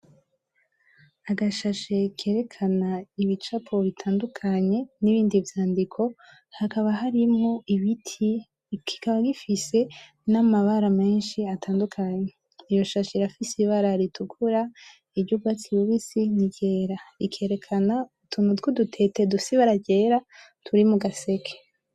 Agashashe kerekana ibicapo bitandukanye, nibindi vyandiko. Hakaba harimwo ibiti, kikaba gifise namabara menshi atandukanye. Iyo shashe irafise ibara ritukura, iryubwatsi bubisi, ni ryera. Rikerekana utuntu twudutete dufise ibara ryera turi mugaseke.